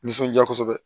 Nisɔndiya kosɛbɛ